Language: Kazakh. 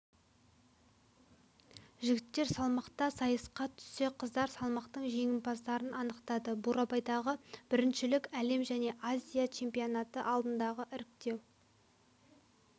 жігіттер салмақта сайысқа түссе қыздар салмақтың жеңімпаздарын анықтады бурабайдағы біріншілік әлем және азия чемпионаты алдындағы іріктеу